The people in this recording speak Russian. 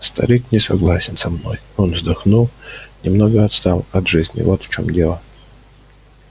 старик не согласен со мной он вздохнул немного отстал от жизни вот в чём дело